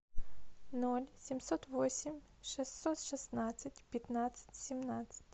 ноль семьсот восемь шестьсот шестнадцать пятнадцать семнадцать